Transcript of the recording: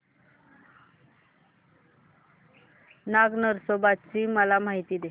नाग नरसोबा ची मला माहिती दे